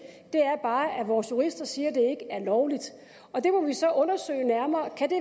er bare at vores jurister siger at det ikke er lovligt og det må vi så undersøge nærmere kan det